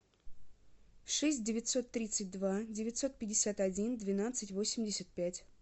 шесть девятьсот тридцать два девятьсот пятьдесят один двенадцать восемьдесят пять